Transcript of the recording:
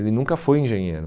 Ele nunca foi engenheiro.